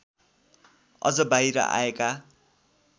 अझ बाहिर आएका